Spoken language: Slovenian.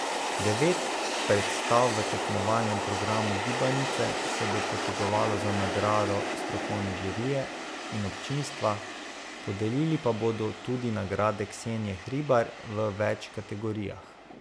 Devet predstav v tekmovalnem programu Gibanice se bo potegovalo za nagrado strokovne žirije in občinstva, podelili pa bodo tudi nagrade Ksenije Hribar v več kategorijah.